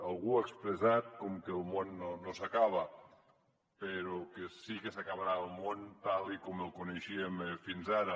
algú ha expressat com que el món no s’acaba però que sí que s’acabarà el món tal com el coneixíem fins ara